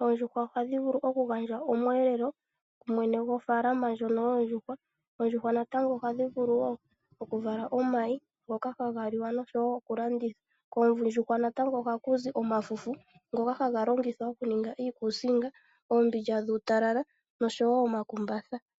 Oondjuhwa ohadhi vulu oku gandja omweelelo ku mwene gofaalama ndjono yoondjuhwa. Oondjuhwa natango ohadhi vulu wo oku vala omayi ngoka haga liwa noshowo oku landitha. Koondjuhwa natango ohaku zi omafufu ngoka haga longithwa okuninga iikuusinga, omakumbatha oshowo oombilya dhuutalala.